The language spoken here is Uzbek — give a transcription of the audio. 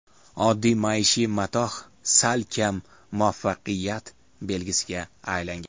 Oddiy maishiy matoh salkam muvaffaqiyat belgisiga aylangan.